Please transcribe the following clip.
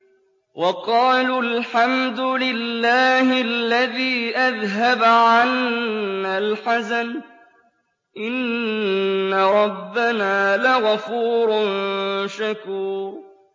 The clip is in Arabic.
وَقَالُوا الْحَمْدُ لِلَّهِ الَّذِي أَذْهَبَ عَنَّا الْحَزَنَ ۖ إِنَّ رَبَّنَا لَغَفُورٌ شَكُورٌ